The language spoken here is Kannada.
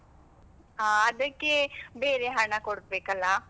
ಹಾ ಅದಕ್ಕೆ ಬೇರೆ ಹಣ ಕೊಡಬೇಕಲ್ಲಾ?